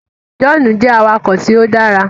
John jẹ awakọ̀ tíó dára.